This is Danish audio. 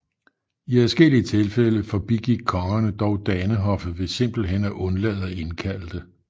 I adskillige tilfælde forbigik kongerne dog danehoffet ved simpelthen at undlade at indkalde det